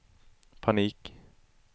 panik